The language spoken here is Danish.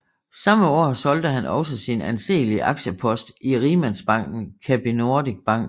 Samme år solgte han også sin anseelige aktiepost i rigmandsbanken Capinordic Bank